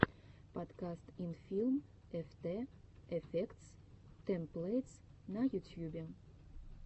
подкаст инфилм эфтэ эфектс тэмплэйтс на ютьюбе